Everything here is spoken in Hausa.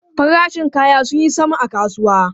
Farashin kaya sun yi sama a kasuwa.